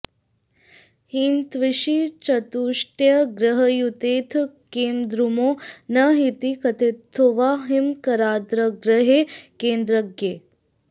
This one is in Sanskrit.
हिमत्विषि चतुष्टये ग्रहयुतेऽथ केमद्रुमो न हीति कथितोऽथवा हिमकराद्ग्रहैः केन्द्रगैः